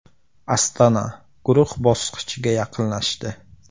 “Astana” guruh bosqichiga yaqinlashdi.